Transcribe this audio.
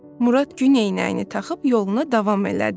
Murad gün eynəyini taxıb yoluna davam elədi.